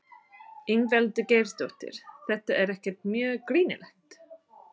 Ingveldur Geirsdóttir: Þetta er ekkert mjög girnilegt?